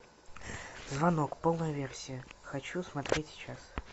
звонок полная версия хочу смотреть сейчас